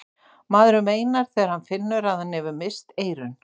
maðurinn veinar þegar hann finnur að hann hefur misst eyrun